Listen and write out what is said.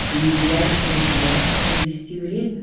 приезжает чтобы приятно провести время